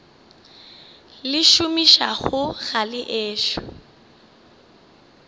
le šomišago ga le ešo